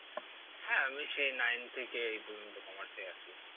হ্যাঁ আমি সেই nine থেকে এই পর্যন্ত commerce এ আছি।